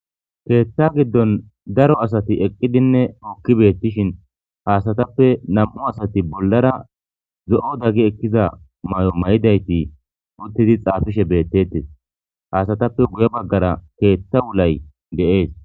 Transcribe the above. Keeththa giddon daro asati eqqidinne ookki beettishin haasatappe nam'u asati bollara zo'o daggi ekkiza may'o may'idayti uttidi xaafishe beettettes haasatappe guye baggara keeththa wulay deees.